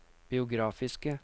biografiske